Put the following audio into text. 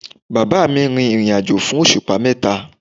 Bàbáà mi rìnrìnàjò fún òṣùpá mẹ́ta.